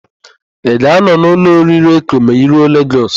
Ị ga-anọ n'ụlọ oriri Eko ma I ruo Legọs?